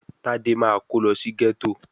Tádé máa kó lọ sí gẹ́tò